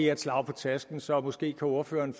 er et slag på tasken så måske kan ordføreren